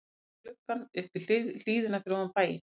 Ég leit út um gluggann upp í hlíðina fyrir ofan bæinn.